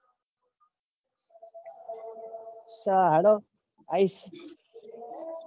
અચ્છા હાલો. આયિસ